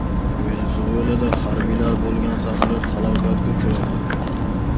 Venesuelada harbiylar bo‘lgan samolyot halokatga uchradi.